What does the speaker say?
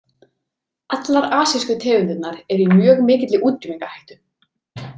Allar asísku tegundirnar eru í mjög mikilli útrýmingarhættu.